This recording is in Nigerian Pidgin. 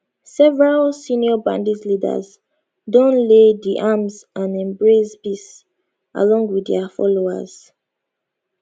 several senior bandit leaders don lay di arms and embrace peace along wit dia followers